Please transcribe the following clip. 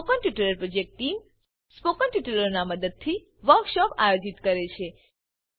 spoken tutorial project team spoken ટ્યુટોરીયલોનાં ઉપયોગથી વર્કશોપોનું આયોજન કરે છે